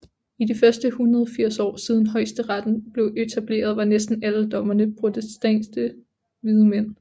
I de første 180 år siden højesteretten blev etableret var næsten alle dommerne protestantiske hvide mænd